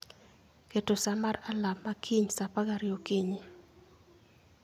keto sa mar alarm ma kiny saa apar gariyo okinyi